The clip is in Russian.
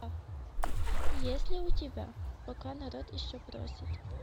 есть ли у тебя пока народ еще просит